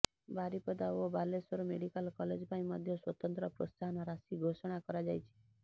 ବାରିପଦା ଓ Baleswar medical college ପାଇଁ ମଧ୍ୟ ସ୍ୱତନ୍ତ୍ର ପ୍ରୋତ୍ସାହନ ରାଶି ଘୋଷଣା କରାଯାଇଛି